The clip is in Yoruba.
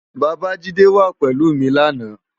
Babajide wá pélú mi làná